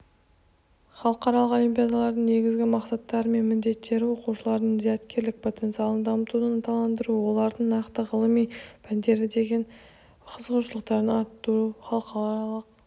халықаралық олимпиадалардың негізгі мақсаттары мен міндеттері оқушылардың зияткерлік потенциалын дамытуды ынталандыру оларды нақты ғылыми пәндерге деген қызығушылықтарын арттыру халықаралық